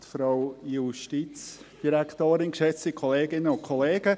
Kommissionssprecher der FiKo.